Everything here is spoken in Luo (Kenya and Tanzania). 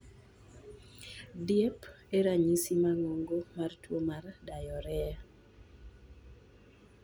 Diep e ranyisi maduong mar tuwo mar giardia.